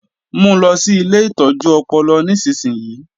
Mu lọ sí ilé ìtọ́jú ọpọlọ nísinsìnyí!